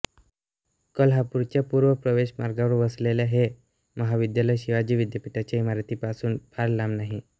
कोल्हापूरच्या पूर्व प्रवेश मार्गावर वसलेले हे महाविद्यालय शिवाजी विद्यापीठाच्या इमारतींपासून फार लांब नाही